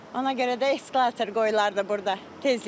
Ona görə də eskalator qoyular da burda tezliklə.